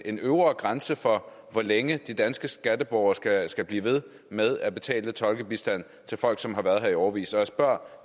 en øvre grænse for hvor længe de danske skatteborgere skal skal blive ved med at betale tolkebistand til folk som har været her i årevis jeg spørger